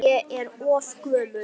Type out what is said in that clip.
Ég er of gömul.